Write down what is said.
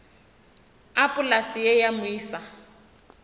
a polase ye ya moisa